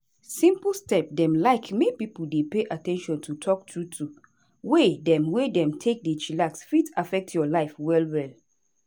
simple step dem like make pipo dey pay at ten tion to talk trueto way dem wey dem take dey chillax fit affect your life well well.